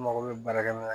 N mago bɛ baarakɛminɛn